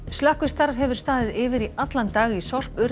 slökkvistarf hefur staðið yfir í allan dag í